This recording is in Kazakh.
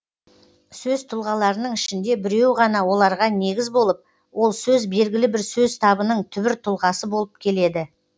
сөз тұлғаларының ішінде біреуі ғана оларға негіз болып ол сөз белгілі бір сөз табының түбір тұлғасы болып келеді